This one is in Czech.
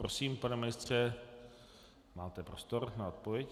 Prosím, pane ministře, máte prostor na odpověď.